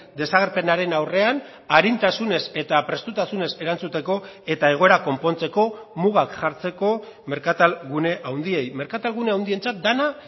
desagerpenaren aurrean arintasunez eta prestutasunez erantzuteko eta egoera konpontzeko mugak jartzeko merkatal gune handiei merkatal gune handientzat dena